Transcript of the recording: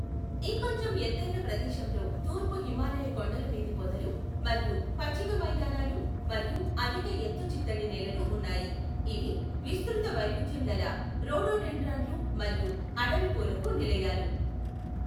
ఇంకొంచెం ఎత్తైన ప్రదేశంలో తూర్పు హిమాలయ కొండలమీది పొదలు మరియు పచ్చిక మైదానాలు మరియు అధిక ఎత్తు చిత్తడి నేలలు ఉన్నాయి, ఇవి విస్తృత వైవిధ్యంగల రోడోడెండ్రాన్ లు మరియు అడవి పూలకు నిలయాలు.